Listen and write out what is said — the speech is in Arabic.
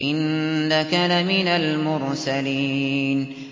إِنَّكَ لَمِنَ الْمُرْسَلِينَ